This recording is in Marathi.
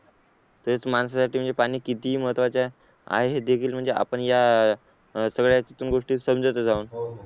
तरी तर माणसासाठी म्हणजे पाणी किती महत्त्वाचे आहे म्हणजे आपण या सगळ्या याच्यातून गोष्टी समजतच आहोत.